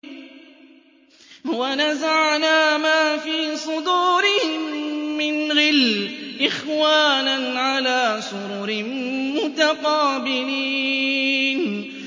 وَنَزَعْنَا مَا فِي صُدُورِهِم مِّنْ غِلٍّ إِخْوَانًا عَلَىٰ سُرُرٍ مُّتَقَابِلِينَ